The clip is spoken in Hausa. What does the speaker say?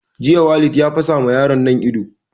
Jiya Walid ya fasa ma yaron nan ido